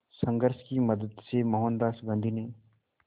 संघर्ष की मदद से मोहनदास गांधी ने